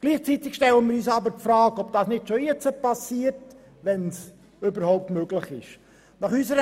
Gleichzeitig stellen wir uns die Frage, ob das nicht schon heute so gut wie möglich gemacht wird.